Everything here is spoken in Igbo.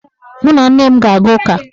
Mụ na nne m ga-aga ụka.